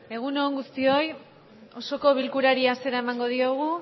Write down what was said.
egun on guztioi osoko bilkurari hasiera emango diogu